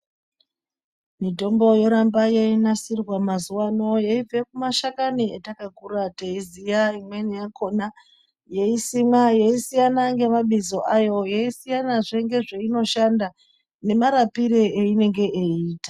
Mitombo yoramba yeinasirwa mazuva anawa yeibva kumashakani atakakura teiziva imweni yakona yeisimwa yeisiyana nemabizo ayo Yeisiyana zveneizvainoshanda nemarapiro zveyainenge yeita.